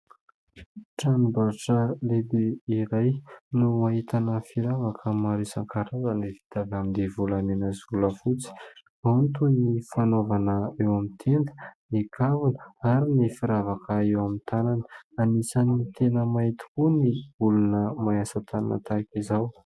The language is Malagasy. Tranom-barotra lehibe iray no hahitana firavaka maro isan-karazany, vita avy amin'ny volamena sy volafotsy. Antony ny fanaovana eo amin'ny tenda, ny kavina, ary ny firavaka eo amin'ny tanana. Anisany tena mahay tokoa ny olona mahay asa-tanana tahaka izao.